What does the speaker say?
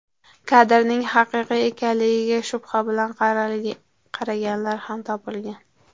Kadrning haqiqiy ekanligiga shubha bilan qaraganlar ham topilgan.